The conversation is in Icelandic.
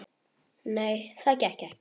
Nei, það gekk ekki.